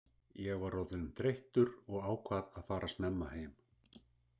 Ég var orðinn þreyttur og ákvað að fara snemma heim.